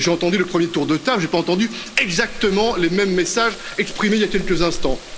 J'ai entendu le premier tour de table, je n'ai pas entendu exactement les mêmes messages exprimés il y a quelques instants.